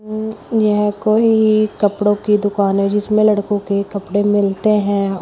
यह कोई कपड़ों की दुकान है जिसमे लड़कों के कपड़े मिलते हैं औ--